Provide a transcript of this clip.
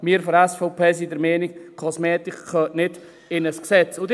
Wir von der SVP sind der Meinung, dass Kosmetik nicht in ein Gesetz gehört.